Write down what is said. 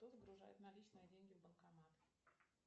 кто загружает наличные деньги в банкомат